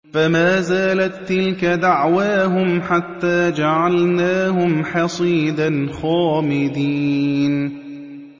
فَمَا زَالَت تِّلْكَ دَعْوَاهُمْ حَتَّىٰ جَعَلْنَاهُمْ حَصِيدًا خَامِدِينَ